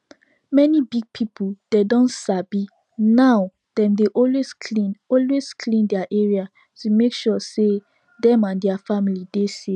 many big people dem don sabi now dem dey always clean always clean their area to make sure say dem and their family dey safe